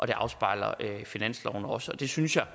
det afspejler finansloven også og det synes jeg